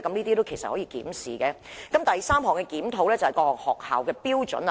第三項修正是檢討各類學校的標準。